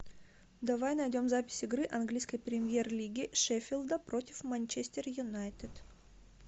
давай найдем запись игры английской премьер лиги шеффилда против манчестер юнайтед